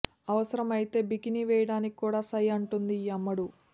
అవసరం అయితే బికినీ వేయడానికి కూడా సై అంటుంది ఈ అమ్మడు